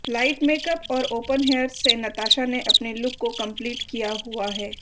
light makeup और open hairs से नताशा ने अपने लुक को कम्पलीट किया हुआ है